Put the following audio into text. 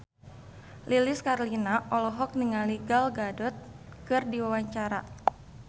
Lilis Karlina olohok ningali Gal Gadot keur diwawancara